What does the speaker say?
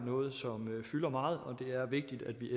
noget som fylder meget og det er vigtigt at vi